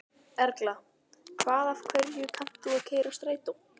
Erla: Hvað af hverju kannt þú að keyra strætó?